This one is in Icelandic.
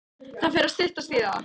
Það fer að styttast í það.